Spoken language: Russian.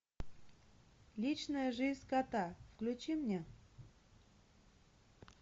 личная жизнь кота включи мне